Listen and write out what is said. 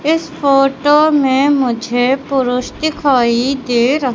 इस फोटो में मुझे पुरुष दिखाई दे र--